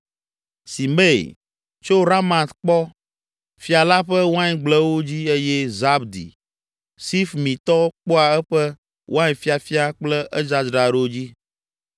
Simei, tso Ramat kpɔ fia la ƒe waingblewo dzi eye Zabdi, Sifmitɔ kpɔa eƒe wainfiafia kple edzadzraɖo dzi.